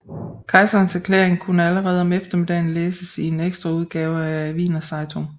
Kejserens erklæring kunne allerede om eftermiddagen læses i en ekstraudgave af Wiener Zeitung